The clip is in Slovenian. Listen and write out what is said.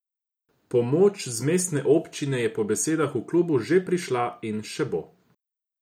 Pomoč z mestne občine je po besedah v klubu že prišla in še bo.